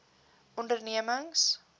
ondernemings